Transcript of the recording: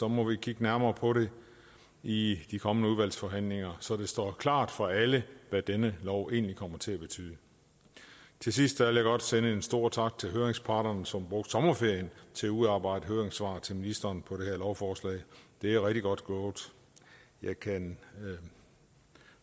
må vi kigge nærmere på det i de kommende udvalgsforhandlinger så det står klart for alle hvad denne lov egentlig kommer til at betyde til sidst vil jeg godt sende en stor tak til høringsparterne som sommerferien til at udarbejde høringssvar til ministeren på det her lovforslag det er rigtig godt gået jeg kan